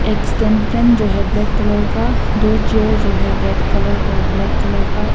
extension जो है black colour का दो चेयर जो है रेड कलर और ब्लैक कलर का एक--